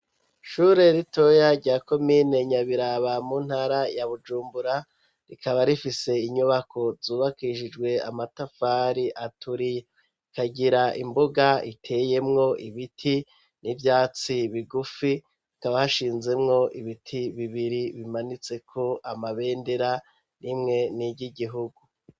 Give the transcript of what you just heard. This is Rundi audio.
Ishure ritoya rya komine Nyabiraba mu ntara ya Bujumbura rikaba rifise inyubako zubakishijwe amatafari aturiye ikagira imbuga iteyemwo ibiti n'ivyatsi bigufi hakaba hashinzemwo ibiti bibiri bimanitseko amabendera rimwe ni ry'igihugu.